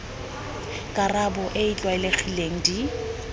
karabo e e tlwaelegileng di